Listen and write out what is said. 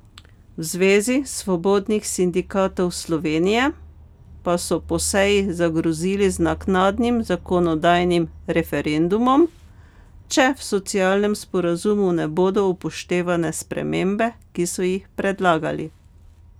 V Zvezi svobodnih sindikatov Slovenije pa so po seji zagrozili z naknadnim zakonodajnim referendumom, če v socialnem sporazumu ne bodo upoštevane spremembe, ki so jih predlagali.